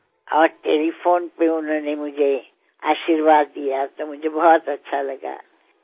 আর টেলিফোনের মাধ্যমে উনি আমাকে যখন আশীর্বাদ জানিয়েছিলেন আমার খুব ভালো লেগেছিল